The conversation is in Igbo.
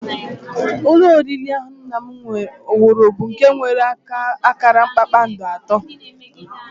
Ụlọ oriri ahụ nna m wuru bụ nke nwere akara kpakpando atọ